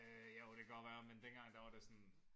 Øh jo det kan godt være men dengang der var det sådan